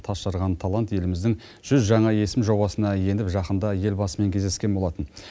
тасжарған талант еліміздің жүз жаңа есімі жобасына еніп жақында елбасымен кездескен болатын